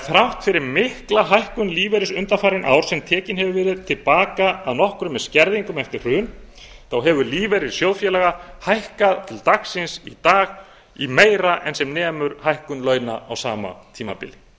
þrátt fyrir mikla hækkun lífeyris undanfarin ár sem tekinn hefur verið til baka að nokkru með skerðingum eftir hrun þá hefur lífeyrir sjóðfélaga hækkað til dagsins í dag um meira en sem nemur hækkun launa á sama tímabili